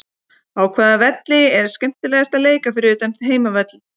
Á hvaða velli er skemmtilegast að leika fyrir utan þinn heimavöll?